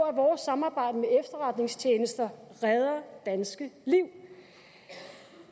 at vores samarbejde med efterretningstjenester redder danske liv